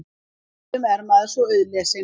Stundum er maður svo auðlesinn.